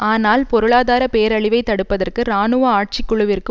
ஆனால் பொருளாதார பேரழிவை தடுப்பதற்கு இராணுவ ஆட்சிக்குழுவிற்கு